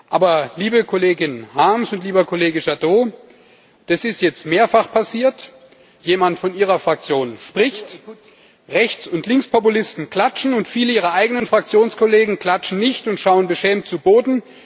Aber, liebe Kollegin Harms und lieber Kollege Jadot, das ist jetzt mehrfach passiert Jemand von Ihrer Fraktion spricht, Rechts und Linkspopulisten klatschen, und viele Ihrer eigenen Fraktionskollegen klatschen nicht und schauen beschämt zu Boden.